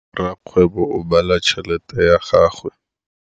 Rakgwêbô o bala tšheletê ya gagwe.